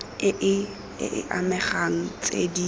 e e amegang tse di